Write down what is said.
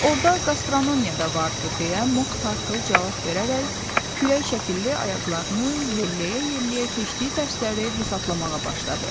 Orada qastronomiya da vardı, deyə Mok Tartıl cavab verərək kürək şəkilli ayaqlarını yelleyə-yelleyə keçdiyi dərsləri hesablamağa başladı.